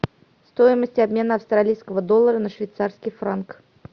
стоимость обмена австралийского доллара на швейцарский франк